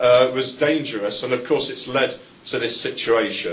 was dangerous, and of course it has led to this situation.